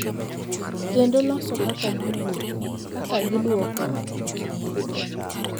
Kendo loso kaka giwuotho, kaka gidwoko e chunygi,